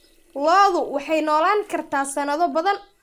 Lo'du waxay noolaan kartaa sanado badan.